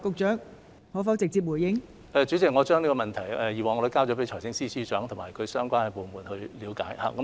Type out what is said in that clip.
代理主席，我已經將這個問題轉交財政司司長及相關部門，以作了解。